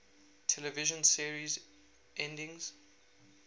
television series endings